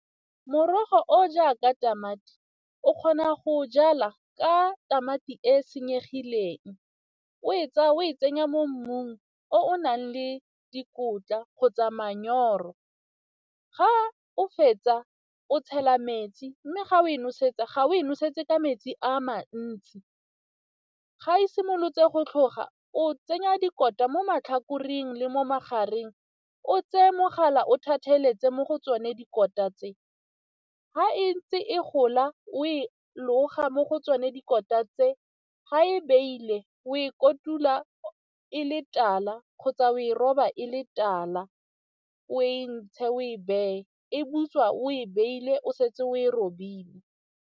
Morogo o jaaka tamati o kgona go o jala ka tamati e senyegileng, o e tsaya o e tsenya mo mmung o o nang le dikotla go tsa manyoro, ga o fetsa o tshela metsi mme ga o e nosetsa ga o e nosetsa ka metsi a mantsi. Ga e simolotse a go tlhoga, o tsenya dikotla mo matlhakoreng le mo magareng o tseye mogala o thatheletse mo go tsone dikota tse, ga e ntse e gola o e loga mo go tsone dikota tse, ga e beile o e kotula e le tala kgotsa o e roba e le tala, o e ntshe o e beye e butswa o e beile o setse o e roba.